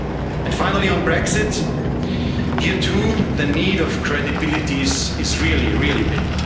of values. And finally, on Brexit, here too the need for credibility is really,